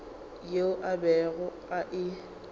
yeo a bego a e